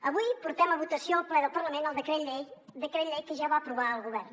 avui portem a votació al ple del parlament el decret llei decret llei que ja va aprovar el govern